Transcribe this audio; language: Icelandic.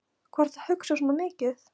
Hvað ertu að hugsa svona mikið?